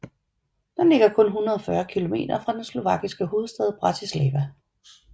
Den ligger kun 140 kilometer fra den slovakiske hovedstad Bratislava